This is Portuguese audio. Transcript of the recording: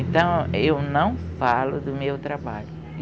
Então, eu não falo do meu trabalho.